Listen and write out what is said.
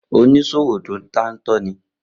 Oníṣòwò to dántọ́ ní